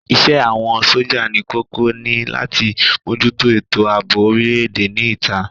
Isẹ́ àwọn sójà ní kókó ni láti mójútó ètò àbò orile-èdè ní ìta